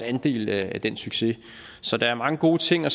andel i den succes så der er mange gode ting at